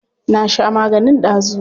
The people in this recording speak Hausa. Na sha maganin dazu.